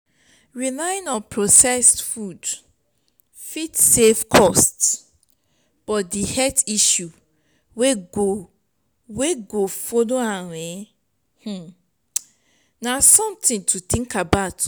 relying on processed food fit save cost but di health issue wey go wey go follow am na something to think about